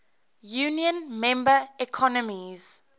union member economies